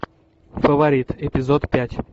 фаворит эпизод пять